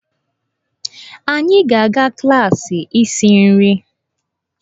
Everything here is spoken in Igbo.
Anyị ga-aga klaasị isi nri.